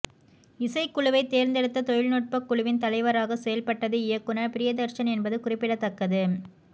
இசைக் குழுவைத் தேர்ந்தெடுத்த தொழில்நுட்பக் குழுவின் தலைவராக செயல்பட்டது இயக்குநர் பிரியதர்ஷன் என்பது குறிப்பிடத்தக்கது